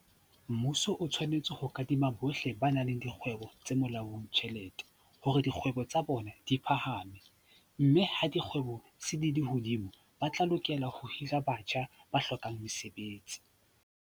Mmuso o tshwanetse ho kadima bohle ba nang le dikgwebo tse molaong tjhelete hore dikgwebo tsa bona di phahame, mme ha dikgwebo se di le hodimo, ba tla lokela ho hira batjha ba hlokang mesebetsi.